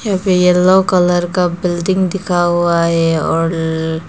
एक yellow colour का building दिखा हुआ है और--